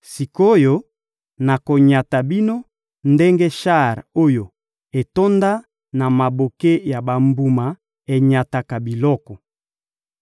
Sik’oyo, nakonyata bino ndenge shar oyo etonda na maboke ya bambuma enyataka biloko.